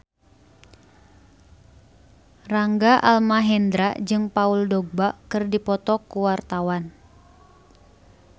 Rangga Almahendra jeung Paul Dogba keur dipoto ku wartawan